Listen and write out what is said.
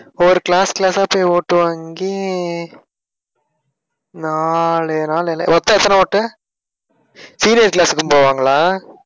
ஒரு class class ஆ போய் ஓட்டு வாங்கி நாலு நாள். மொத்தம் எத்தன ஓட்டு senior class க்கும் போவாங்களா?